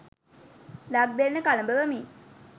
ලක් දෙරණ කළඹවමින්